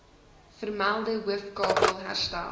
vermelde hoofkabel herstel